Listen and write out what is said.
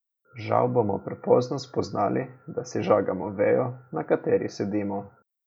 Žal bomo prepozno spoznali, da si žagamo vejo, na kateri sedimo.